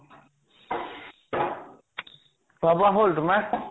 খোৱা বোৱা হʼল তোমাৰ ?